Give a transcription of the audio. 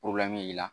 b'i la